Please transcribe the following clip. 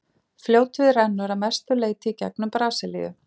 fljótið rennur að mestu leyti í gegnum brasilíu